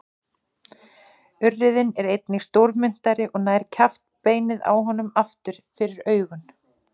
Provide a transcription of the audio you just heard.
Urriðinn er einnig stórmynntari og nær kjaftbeinið á honum aftur fyrir augun.